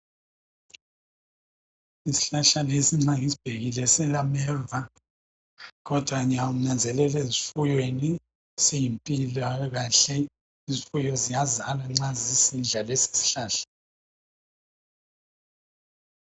Isihlahla lesi nxa ngisibhekile silameva kodwa ngiyanzelela ezifuyweni simpilakahle, izifuyo ziyazala nxa zisidla lesisihlahla.